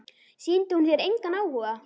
Sýndi hún þér engan áhuga?